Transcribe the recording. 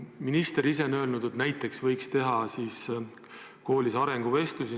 Minister ise on öelnud, et näiteks võiks teha koolis arenguvestlusi.